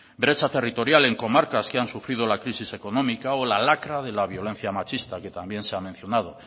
brecha salarial en comarcas que han sufrido la crisis económica o la lacra de la violencia machista que también se ha mencionado